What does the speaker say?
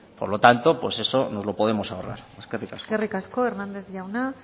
por lo tanto eso nos lo podemos ahorrar eskerrik asko eskerrik asko hernández jauna